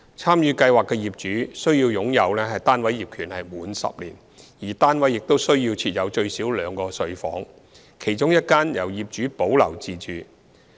參與計劃的業主須擁有單位業權滿10年，而單位亦須設有最少兩個睡房，其中一間由業主保留自用。